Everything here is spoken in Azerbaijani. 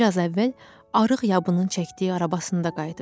Bir az əvvəl arıq yabının çəkdiyi arabasında qayıdıbmış.